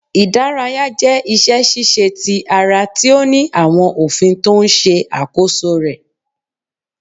Ìdárayá jẹ́ iṣẹ́- ṣíṣe ti ara tí ó ní àwọn òfin tó ń ṣe àkóso rẹ̀.